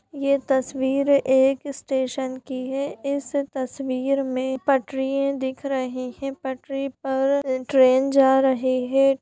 ये तस्वीर एक स्टेशन की है इस तस्वीर में पटरिये दिख रही हैं पटरी पर ट्रेन जा रही है।